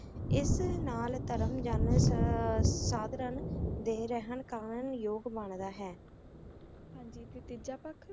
ਏਸ ਨਾਲ ਧਰਮ ਜਾਨਾਂ ਸਧਰਾਂ ਦੇ ਰਹਨ ਕਾਨ ਯੋਗ ਬੰਦਾ ਹੈ ਹਾਂਜੀ ਟੀ ਤੀਜਾ ਪਖ